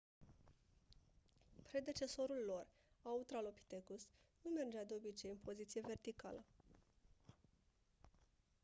predecesorul lor autralopithecus nu mergea de obicei în poziție verticală